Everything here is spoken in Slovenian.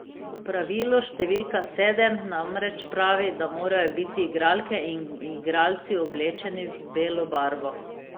Pravilo številka sedem namreč pravi, da morajo biti igralke in igralci oblečeni v belo barvo.